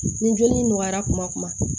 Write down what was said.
Ni joli nɔgɔyara kuma